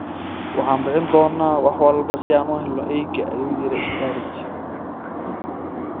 Waxaan bixin doonaa wax kasta si aan u helno eyga, ayuu yiri Sturridge.